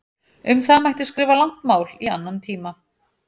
Um það mætti skrifa langt mál í annan tíma.